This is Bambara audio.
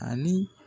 Ani